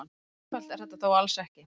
Svo einfalt er þetta þó alls ekki.